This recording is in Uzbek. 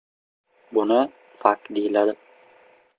“Buni fakt deyiladi.